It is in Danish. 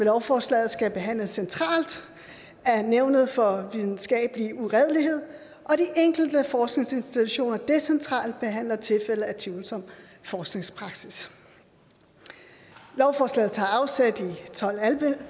lovforslaget skal behandles centralt af nævnet for videnskabelig uredelighed og de enkelte forskningsinstitutioner decentralt behandler tilfælde af tvivlsom forskningspraksis lovforslaget tager afsæt i tolv